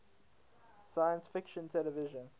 science fiction television